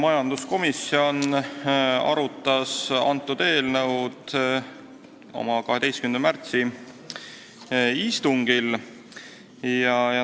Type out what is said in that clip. Majanduskomisjon arutas seda eelnõu oma 12. märtsi istungil.